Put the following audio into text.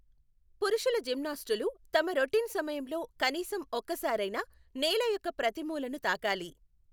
పురుషుల జిమ్నాస్టులు తమ రొటీన్ సమయంలో కనీసం ఒకసారైనా నేల యొక్క ప్రతి మూలను తాకాలి.